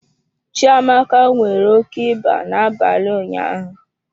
Chiamaka nwere oke ịba n'abalị ụnyaahụ.